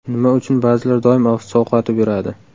Nima uchun ba’zilar doim sovqotib yuradi?.